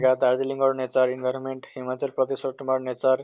বা ৰ nature environment Himachal প্ৰদেশৰ তোমাৰ